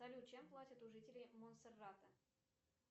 салют чем платят у жителей монсерата